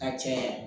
A cɛ